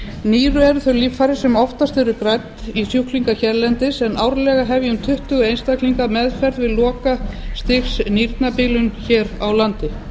nýru eru þau líffæri sem oftast eru grædd í sjúklinga hérlendis en árlega hefja um tuttugu einstaklingar meðferð við lokastigsnýrnabilun hér á landi